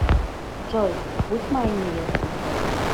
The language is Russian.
джой будь моей невестой